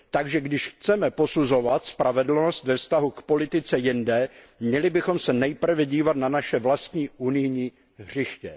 Takže když chceme posuzovat spravedlnost ve vztahu k politice jinde, měli bychom se nejprve dívat na naše vlastní unijní hřiště.